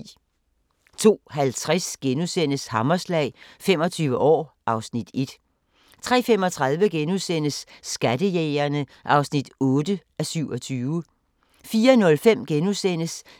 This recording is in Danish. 02:50: Hammerslag – 25 år (Afs. 1)* 03:35: Skattejægerne (8:27)* 04:05: